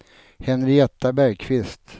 Henrietta Bergkvist